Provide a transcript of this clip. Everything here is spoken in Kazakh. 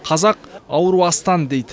қазақ ауру астан дейді